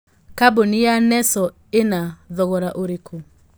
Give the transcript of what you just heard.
kambũni ya nestle ĩna thogora ũrikũ